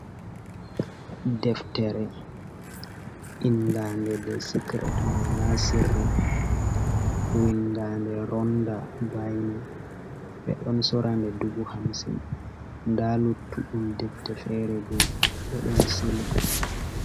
Deftere inda nde, de sicret ma, ana sirri, win dande ronda baine. Ɓe ɗon sora nde dubu hamsin nda luttuɗum defte fere bo ɓe ɗon sili.